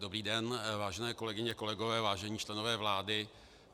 Dobrý den, vážené kolegyně, kolegové, vážení členové vlády.